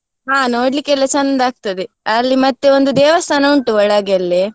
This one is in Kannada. ಹಾ ನೋಡ್ಲಿಕ್ಕೆಲ್ಲ ಚಂದ ಆಗ್ತದೆ, ಅಲ್ಲಿ ಮತ್ತೆ ಒಂದು ದೇವಸ್ಥಾನ ಉಂಟು ಒಳಗೆಲ್ಲಿ.